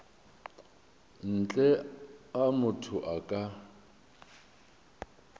ntle a motho a ka